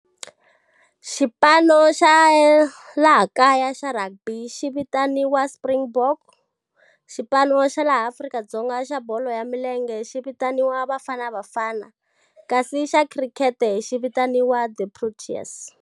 Xipano xa laha kaya xa rugby xi vitaniwa Springbok, xipano xa laha Afrika-Dzonga, xa bolo ya milenge xi vitaniwa Bafana Bafana. Kasi xa khirikhete xi vitaniwa the Proteas.